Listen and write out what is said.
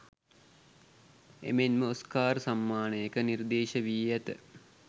එමෙන්ම ඔස්කාර් සම්මානයක නිර්දේශ වී ඇත